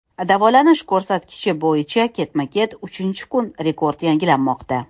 Davolanish ko‘rsatkichi bo‘yicha ketma-ket uchinchi kun rekord yangilanmoqda.